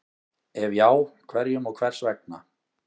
Ef já, hverjum og hvers vegna?